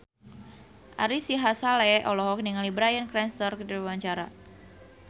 Ari Sihasale olohok ningali Bryan Cranston keur diwawancara